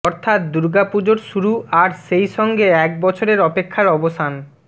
অর্থাৎ দুর্গা পুজোর শুরু আর সেই সঙ্গে এক বছরের অপেক্ষার অবসান